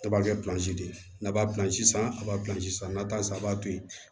A b'a kɛ pilansi de ye n'a b'a pilansi san a b'a pilansi san na a b'a to yen